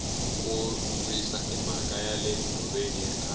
ku risa i mhaka yale nhoveni ya khale